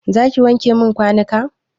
Zaki wanke min kwanuka?